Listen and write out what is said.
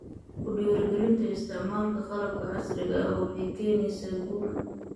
Ku dhiirigelinta isticmaalka qalabka casriga ah waxay keenaysaa guul.